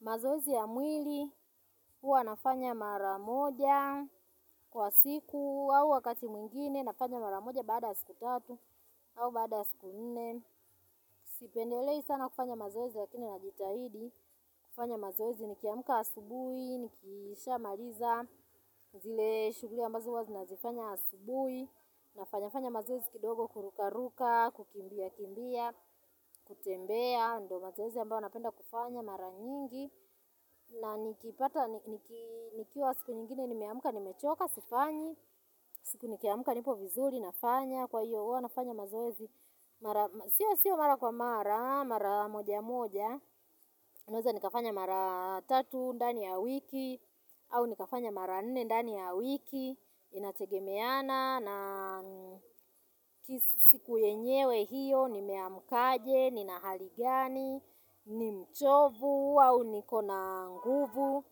Mazoezi ya mwili huwa nafanya mara moja kwa siku au wakati mwingine nafanya mara moja baada ya siku tatu au baada ya siku nne Sipendelei sana kufanya mazoezi lakini najitahidi kufanya mazoezi nikiamka asubuhi nikishamaliza zile shughuli ambazo huwa nazifanya asubui, nafanya fanya mazozi kidogo kurukaruka, kukimbia kimbia, kutembea ndo mazoezi ambao napenda kufanya mara nyingi na nikipata nikiwa siku nyingine nimeamka nimechoka sifanyi siku nikiamka nipo vizuri nafanya kwa hiyo huwa nafanya mazoezi mara Sio sio mara kwa mara mara wa moja moja Naweza nikafanya mara tatu ndani ya wiki au nikafanya mara nne ndani ya wiki Inategemeana na siku yenyewe hiyo nimeamkaje nina hali gani, ni mchovu, au niko na nguvu.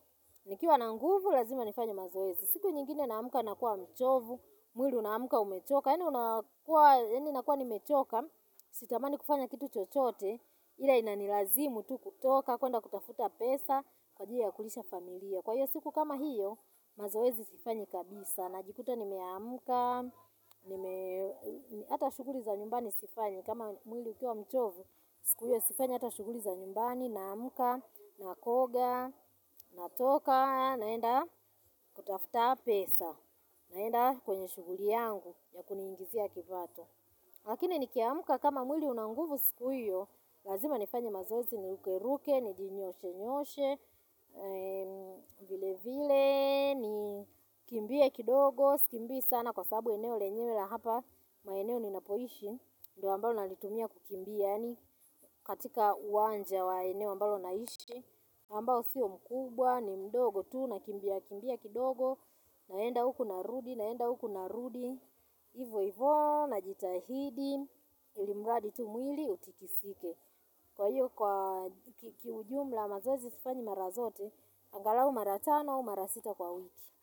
Nikiwa na nguvu, lazima nifanye mazoezi. Siku nyingine naamka nakuwa mchovu, mwili unaamka umechoka. Yaani nakua nimechoka, sitamani kufanya kitu chochote, ila inanilazimu tu kutoka kwenda kutafuta pesa kwa ajili ya kulisha familia. Kwa hiyo siku kama hiyo, mazoezi sifanyi kabisa. Najikuta nimeamka nime hata shughuli za nyumbani sifanyi kama mwili ukiwa mchovu, siku ile sifanyi hata shuguli za nyumbani, naamka, nakoga, natoka naenda kutafuta pesa, naenda kwenye shughuli yangu ya kuningizia kipato. Lakini nikiamka kama mwili una nguvu siku hiyo, lazima nifanye mazoezi niruke ruke, ni jinyoshe nyoshe, vile vile, nikimbie kidogo, Sikimbii sana kwa sababu eneo lenyewe la hapa, maeneo ninapoishi, ndo ambalo nalitumia kukimbia yaani katika uwanja wa eneo ambalo naishi, ambao siyo mkubwa, ni mdogo tu, nakimbia, kimbia kidogo, naenda huku narudi, naenda huku narudi, hivo hivo, najitahidi, ili mradi tu mwili utikisike. Kwa hiyo, kwa kiujumla mazoezi sifanyi mara zote angalau mara tano au mara sita kwa wiki.